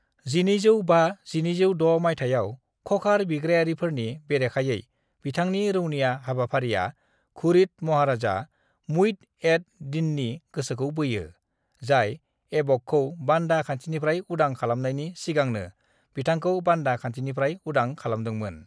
"1205-1206 मायथाइयाव ख'खार बिग्रायारिफोरनि बेरेखायै बिथांनि रौनिया हाबाफारिया घुरिद महाराजा मुइज़ एड-दीननि गोसोखौ बोयो, जाय ऐबकखौ बान्दा खान्थिनिफ्राय उदां खालामनायनि सिगांनो बिथांखौ बान्दा खान्थिनिफ्राय उदां खालामदोंमोन।"